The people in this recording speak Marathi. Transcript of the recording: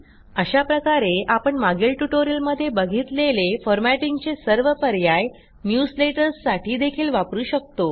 अशा प्रकारे आपण मागील ट्युटोरियलमध्ये बघितलेले फॉरमॅटिंगचे सर्व पर्याय न्यूजलेटर्स साठी देखील वापरू शकतो